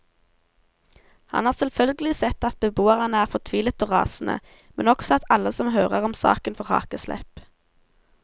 Han har selvfølgelig sett at beboerne er fortvilet og rasende, men også at alle som hører om saken får hakeslepp.